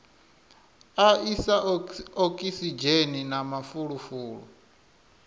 a isa okisidzheni na mafulufulu